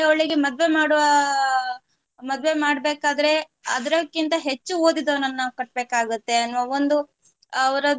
ಅವಳಿಗೆ ಮದುವೆ ಮಾಡುವಾ ಮದುವೆ ಮಾಡ್ಬೇಕಾದ್ರೆ ಅದರಕ್ಕಿಂತ ಹೆಚ್ಚು ಓದಿದವನನ್ನ ಕಟ್ಬೇಕಾಗತ್ತೆ ಅನ್ನುವ ಒಂದು ಅವರದ್ದು